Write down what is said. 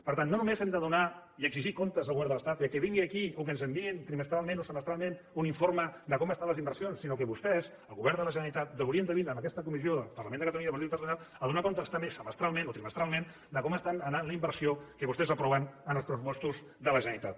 per tant no només hem de donar i exigir comptes al govern de l’estat que vinguin aquí o que ens enviïn trimestralment o semestralment un informe de com estan les inversions sinó que vostès el govern de la generalitat haurien de vindre a aquesta comissió del parlament de catalunya de política territorial a donar comptes també semestralment o trimestralment de com està anant la inversió que vostès aproven en els pressupostos de la generalitat